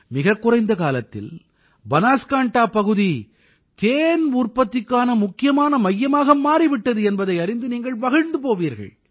மிகக் குறைந்த காலத்தில் பனாஸ்காண்டா பகுதி தேன் உற்பத்திக்கான முக்கியமான மையமாக மாறி விட்டது என்பதை அறிந்து நீங்கள் மகிழ்ந்து போவீர்கள்